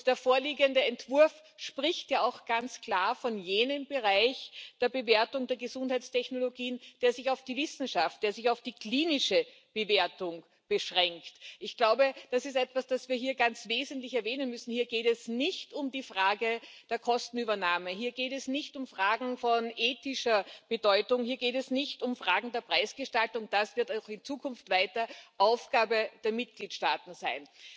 Der vorliegende Entwurf spricht ja auch ganz klar von jenem Bereich der Bewertung der Gesundheitstechnologien, der sich auf die Wissenschaft, der sich auf die klinische Bewertung beschränkt. Eines müssen wir hier ganz wesentlich erwähnen Hier geht es nicht um die Frage der Kostenübernahme, hier geht es nicht um Fragen von ethischer Bedeutung, hier geht es nicht um Fragen der Preisgestaltung. Das wird auch in Zukunft weiter Aufgabe der Mitgliedstaaten sein.